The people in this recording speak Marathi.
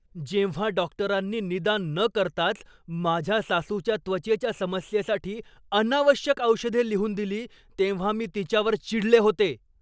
जेव्हा डॉक्टरांनी निदान न करताच माझ्या सासूच्या त्वचेच्या समस्येसाठी अनावश्यक औषधे लिहून दिली तेव्हा मी तिच्यावर चिडले होते.